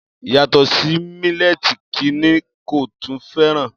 Yàtọ̀ sí mílẹ́ẹ̀tì kí ni kò tún fẹ́ràn?